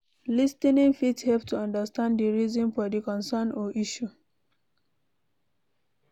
Lis ten ing fit help to understand di reasons for di concern or issue